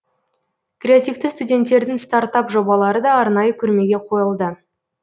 креативті студенттердің стартап жобалары да арнайы көрмеге қойылды